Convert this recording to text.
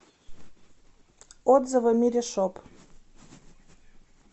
отзывы миришоп